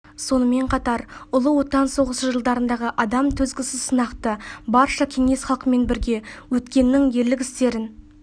сонымен қатар ұлы отан соғысы жылдарындағы адам төзгісіз сынақты барша кеңес халқымен бірге өткеннің ерлік істерін